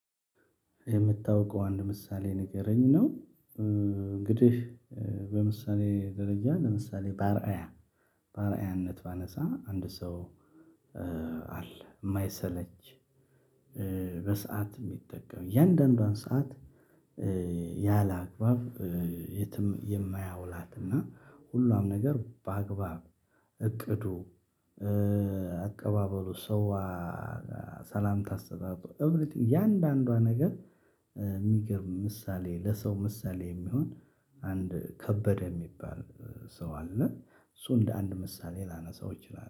የምታውቀው አንድ ምሳሌ ንገረኝ ነው? እንግዲህ በምሳሌ ደረጃ ለምሳሌ ባርአያ ባርአያነት ባነሳ አንድ ሰው። አለ የማይሰለች በሰአት የሚጠቀም የእያንዳንዷን ሰዓት። ያላግባብ የትም የማያውላትና ሁሉም ነገር በአግባብ። እቅዱ አቀባበሉ ሰው ሰላምታ አስተጣጡ እያንዳንዷ ነገር። የሚገርም ምሳሌ ለሰው ምሳሌ የሚሆን አንድ ከበደ የሚባል ሰው አለ። እሱ እንደ አንድ ምሳሌ ላነሳው ይችላል